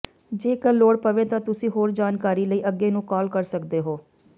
ਜੇਕਰ ਲੋੜ ਪਵੇ ਤਾਂ ਤੁਸੀਂ ਹੋਰ ਜਾਣਕਾਰੀ ਲਈ ਅੱਗੇ ਨੂੰ ਕਾਲ ਕਰ ਸਕਦੇ ਹੋ